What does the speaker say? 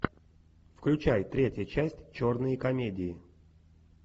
включай третья часть черные комедии